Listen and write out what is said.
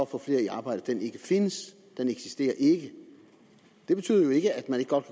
få flere i arbejde ikke findes den eksisterer ikke det betyder jo ikke at man ikke godt